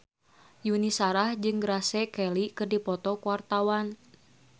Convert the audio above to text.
Yuni Shara jeung Grace Kelly keur dipoto ku wartawan